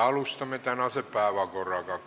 Läheme tänase päevakorra juurde.